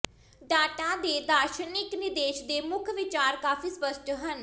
data ਦੇ ਦਾਰਸ਼ਨਿਕ ਨਿਰਦੇਸ਼ ਦੇ ਮੁੱਖ ਵਿਚਾਰ ਕਾਫ਼ੀ ਸਪੱਸ਼ਟ ਹਨ